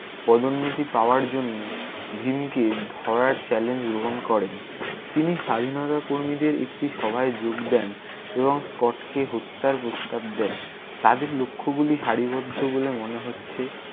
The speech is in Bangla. পদোন্নতি পাওয়ার জন্য ভীমকে ধরার challenge গ্রহন করেন। তিনি স্বাধীনতা কর্মীদের একটি সভায় যোগ দেন এবং স্কটকে হত্যার প্রস্তাব দেন। তাদের লক্ষগুলি সারিবদ্ধ বলে মনে হচ্ছে।